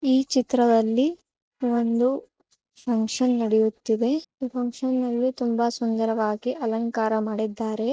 E ಚಿತ್ರದಲ್ಲಿ ಒಂದು function ನೆಡಿಯುತೀದೆ ಈ ಫಂಕ್ಷನ್ ಅಲ್ಲಿ ತುಂಬಾ ಸುಂದರವಾಗಿ ಅಲಂಕಾರ ಮಾಡಿದ್ದಾರೆ.